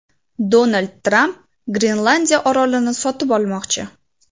Donald Tramp Grenlandiya orolini sotib olmoqchi.